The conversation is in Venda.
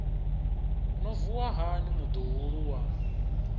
no vuwa hani muḓuhulu wa